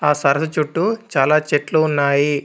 ఆ సరస్సు చుట్టూ చాలా చెట్లు ఉన్నాయి.